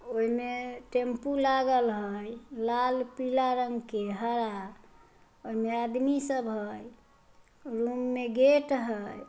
एम्मे tempo लागल हई लाल पिल्ला रंग के हरा और आदमी सब हई रूम में गेट हई।